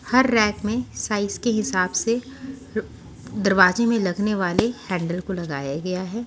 हर rack में size के हिसाब से दरवाजे में लगने वाले हैंडल को लगाया गया है।